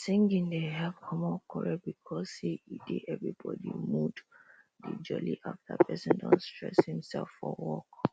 singing dey help comot quarrel because say e dey everybody mood dey jolly after persin don stress himsef for work